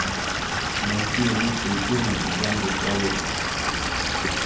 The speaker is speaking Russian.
найти лучшие фильмы в жанре советский